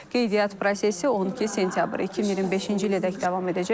Qeydiyyat prosesi 12 sentyabr 2025-ci ilədək davam edəcək.